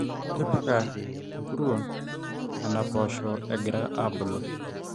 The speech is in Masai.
tipika nkuruon nena poosho egira aabulu